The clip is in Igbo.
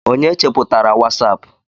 onye cheputara wasapu?